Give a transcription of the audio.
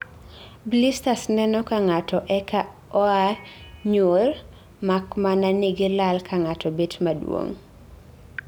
Blisters neno ka ng'ato eka oa nyul mak mana ni gi lal kang'ato bet maduong'